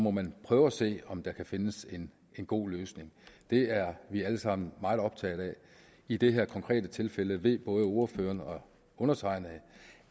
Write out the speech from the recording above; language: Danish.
må man prøve at se om der kan findes en god løsning det er vi alle sammen meget optaget af i det her konkrete tilfælde ved både ordføreren og undertegnede